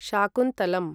Shakuntalam